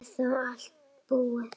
Er þá allt búið?